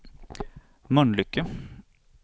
Mölnlycke